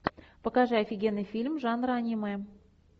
покажи офигенный фильм жанра аниме